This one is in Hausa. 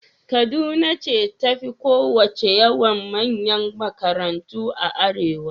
Kaduna ce ta fi kowacce yawan manyan makarantu a arewa.